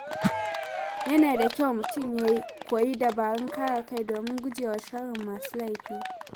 Yana da kyau mutum ya koyi dabarun kare kai domin gujewa sharrin masu laifi.